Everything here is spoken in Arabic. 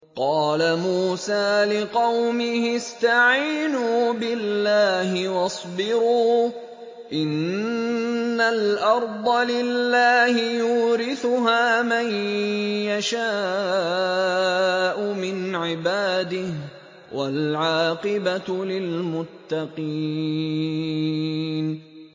قَالَ مُوسَىٰ لِقَوْمِهِ اسْتَعِينُوا بِاللَّهِ وَاصْبِرُوا ۖ إِنَّ الْأَرْضَ لِلَّهِ يُورِثُهَا مَن يَشَاءُ مِنْ عِبَادِهِ ۖ وَالْعَاقِبَةُ لِلْمُتَّقِينَ